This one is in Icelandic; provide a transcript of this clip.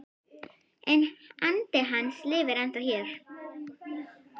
En andi hans lifir ennþá hér